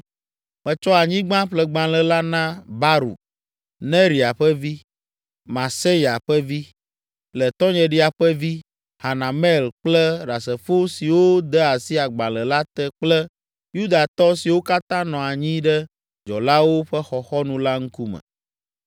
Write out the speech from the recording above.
Metsɔ anyigbaƒlegbalẽ la na Baruk, Neria ƒe vi, Mahseya ƒe vi, le tɔnyeɖia ƒe vi, Hanamel kple ɖasefo siwo de asi agbalẽ la te kple Yudatɔ siwo katã nɔ anyi ɖe dzɔlawo ƒe xɔxɔnu la ŋkume.